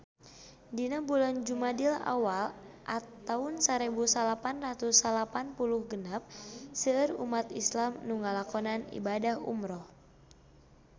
Dina bulan Jumadil awal taun sarebu salapan ratus salapan puluh genep seueur umat islam nu ngalakonan ibadah umrah